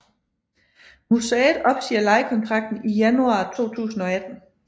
Museet opsiger lejekontrakten i januar 2018